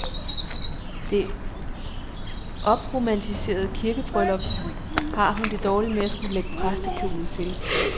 Det opromantiserede kirkebryllup har hun det dårligt med at skulle lægge præstekjole til.